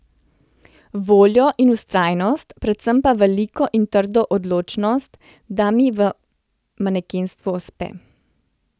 Voljo in vztrajnost, predvsem pa veliko in trdno odločnost, da mi v manekenstvu uspe.